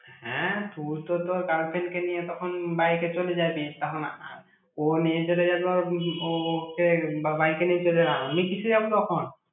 হ্যাঁ, তুই তো তোর girlfriend কে নিয়ে তখন bike এ চলে যাবি, তখন আ~ ও নিয়ে চলে যাবে ওর উম ওকে বা bike নিয়ে চলে যা। আমি কিসে যাবো তখন?